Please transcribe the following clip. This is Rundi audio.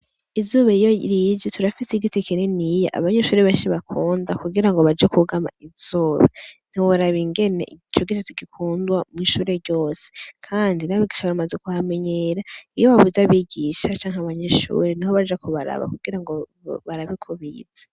Izuba iyo rije, turafitse igiti kininiya abanyeshuri benshi bakunda kugira ngo baje kwugama izuba. Ntiworaba ingene ico giti tugikunda mw'ishure ryose. Kandi n'abigisha bamaze kuhamenyera. Iyo babuze abigisha canke abanyeshure, niho baja kubaraba kugira ngo barabe ko bize.